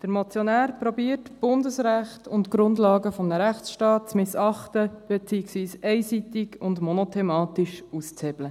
Der Motionär versucht, Bundesrecht und die Grundlagen eines Rechtsstaates zu missachten, beziehungsweise einseitig und monothematisch auszuhebeln.